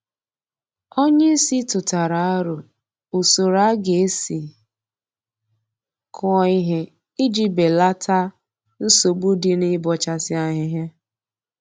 Onye isi tụtara aro usoro a ga-esi kụọ ihe iji belata nsogbu dị na-ịbọchasị ahịhịa